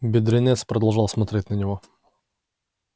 бедренец продолжал смотреть на него